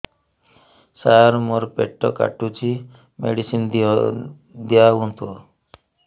ସାର ମୋର ପେଟ କାଟୁଚି ମେଡିସିନ ଦିଆଉନ୍ତୁ